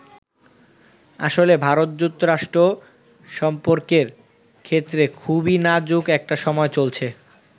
আসলে ভারত-যুক্তরাষ্ট্র সম্পর্কের ক্ষেত্রে খুবই নাজুক একটা সময় চলছে।